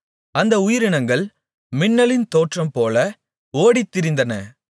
அந்த உயிரினங்கள் மின்னலின் தோற்றம்போல ஓடித்திரிந்தன